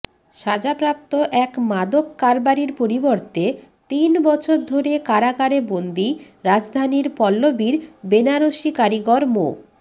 সাজাপ্রাপ্ত এক মাদককারবারির পরিবর্তে তিন বছর ধরে কারাগারে বন্দি রাজধানীর পল্লবীর বেনারসি কারিগর মো